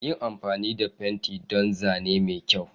Yin amfani da fenti don Zane mai kyau.